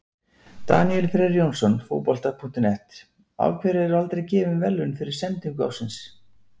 Daníel Freyr Jónsson, Fótbolta.net: Af hverju eru aldrei gefin verðlaun fyrir sendingu ársins?